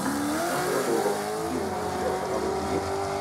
сандра буллок фильмы у тебя в каталоге есть